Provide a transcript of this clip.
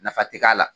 Nafa tɛ k'a la